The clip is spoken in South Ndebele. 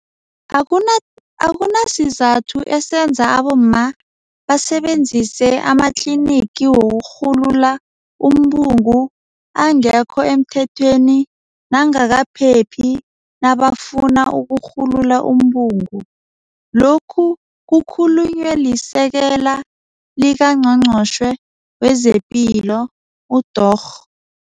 Akunasizathu esenza abomma basebenzise amatlinigi wokurhulula umbungu angekho emthethweni nangakaphephi nabafuna ukurhulula umbungu. Lokhu kukhulunywe liSekela likaNgqongqotjhe wezePilo, uDorh.